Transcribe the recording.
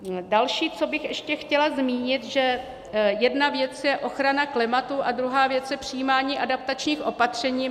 Další, co bych ještě chtěla zmínit, že jedna věc je ochrana klimatu a druhá věc je přijímání adaptačních opatření.